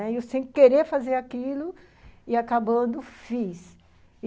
Eu sem querer fazer aquilo, e acabando, fiz.